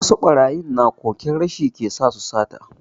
Wasu barayin na koken rashi ke sa su sata.